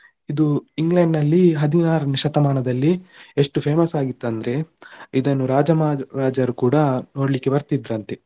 ಇದು England ನಲ್ಲಿ ಹದಿನಾರನೇ ಶತಮಾನದಲ್ಲಿ ಎಷ್ಟು famous ಆಗಿತ್ತಂದ್ರೆ ಇದನ್ನು ರಾಜ ಮಹಾರಾಜರು ಕೂಡ ನೋಡ್ಲಿಕ್ಕೆ ಬರ್ತಿದ್ರಂತೆ,